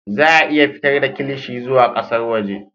Za a iya fitar da kilishi zuwa ƙasar waje